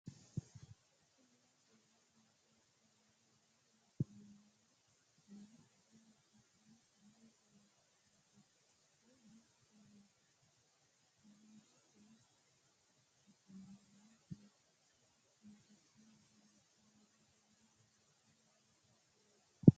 Kuri aleenni misilete aana leellanni afamanni noonkehu babbaxxino dani uduunnichooti kuni uduunnichino angate ogimmanni bushshunni loonsoonni uduunne leellishshanni noonke misileeti